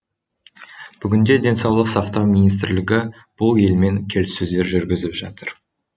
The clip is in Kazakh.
бүгінде денсаулық сақтау министрлігі бұл елмен келіссөздер жүргізіп жатыр